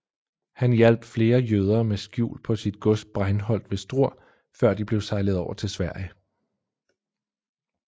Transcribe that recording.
Han hjalp flere jøder med skjul på sit gods Breinholdt ved Struer før de blev sejlet over til Sverige